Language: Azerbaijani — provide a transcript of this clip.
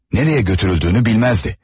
Nəyə götürüldüyünü bilməzdi.